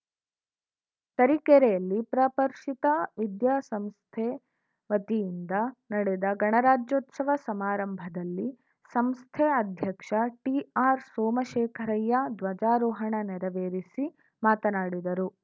ತರೀಕೆರೆಯಲ್ಲಿ ಪ್ರಪರ್ಷಿತ ವಿದ್ಯಾ ಸಂಸ್ಥೆ ವತಿಯಿಂದ ನಡೆದ ಗಣರಾಜ್ಯೋತ್ಸವ ಸಮಾರಂಭದಲ್ಲಿ ಸಂಸ್ಥೆ ಅಧ್ಯಕ್ಷ ಟಿಆರ್‌ ಸೋಮಶೇಖರಯ್ಯ ಧ್ವಜಾರೋಹಣ ನೆರವೇರಿಸಿ ಮಾತನಾಡಿದರು